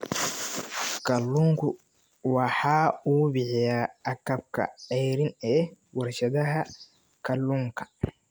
Kalluunku waxa uu bixiyaa agabka ceeriin ee warshadaha kalluunka.